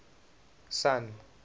sun